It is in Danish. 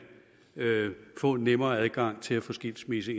få en nemmere adgang til at få skilsmisse